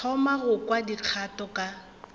thoma go kwa dikgato ka